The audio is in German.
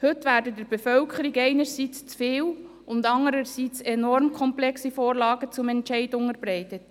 Heute werden der Bevölkerung einerseits zu viele und andererseits enorm komplexe Vorlagen zur Entscheidung unterbreitet.